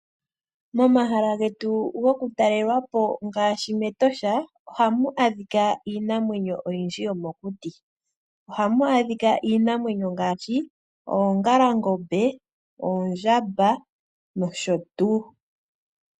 Momahala getu goku talelwapo ngaashi mEtosha ohamu adhika iinamwenyo oyindji yomokuti. Ohamu adhika iinamwenyo ngaashi oongalangombe, oondjamba noshotuu.